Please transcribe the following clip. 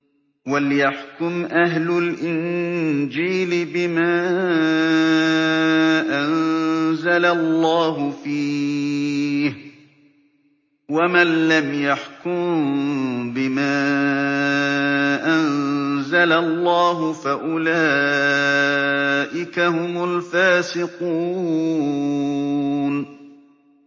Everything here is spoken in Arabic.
وَلْيَحْكُمْ أَهْلُ الْإِنجِيلِ بِمَا أَنزَلَ اللَّهُ فِيهِ ۚ وَمَن لَّمْ يَحْكُم بِمَا أَنزَلَ اللَّهُ فَأُولَٰئِكَ هُمُ الْفَاسِقُونَ